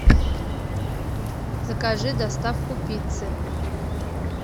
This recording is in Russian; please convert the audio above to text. закажи доставку пиццы